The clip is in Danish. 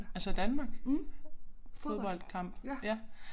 Altså Danmark fodboldkamp ja